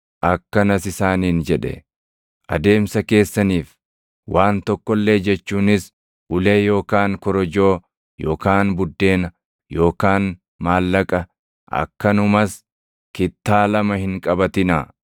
Akkanas isaaniin jedhe; “Adeemsa keessaniif waan tokko illee jechuunis ulee yookaan korojoo yookaan buddeena yookaan maallaqa akkanumas kittaa lama hin qabatinaa.